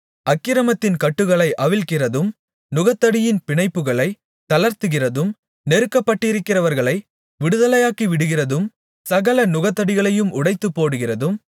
அக்கிரமத்தின் கட்டுகளை அவிழ்க்கிறதும் நுகத்தடியின் பிணைப்புகளை தளர்த்துகிறதும் நெருக்கப்பட்டிருக்கிறவர்களை விடுதலையாக்கிவிடுகிறதும் சகல நுகத்தடிகளையும் உடைத்துப் போடுகிறதும்